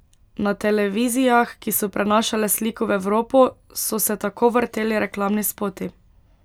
Na televizijah, ki so prenašale sliko v Evropo, so se tako vrteli reklamni spoti.